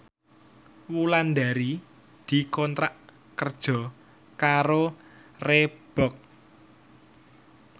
Wulandari dikontrak kerja karo Reebook